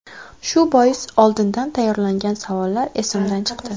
Shu bois oldindan tayyorlangan savollar esimdan chiqdi.